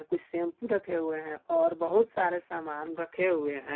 कुछ शैंपू रखे हुए हैं और बहुत सारे सामान रखे हुए हैं।